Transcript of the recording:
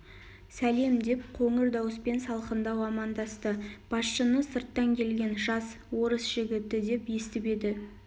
сәлем деп қоңыр дауыспен салқындау амандасты басшыны сырттан келген жас орыс жігіті деп естіп еді